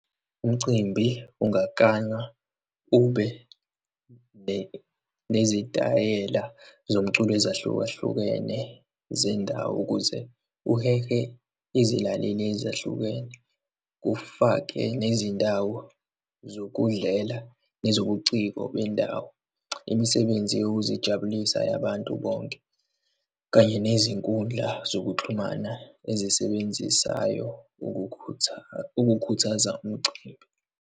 Umcimbi ungakanywa ube nezitayela zomculo ezahlukahlukene zendawo ukuze uhehe izilaleli ezahlukene, kufake nezindawo zokudlela nezobuciko bendawo, imisebenzi yokuzijabulisa yabantu bonke, kanye nezinkundla zokuxhumana ezisebenzisayo ukukhuthaza umcimbi.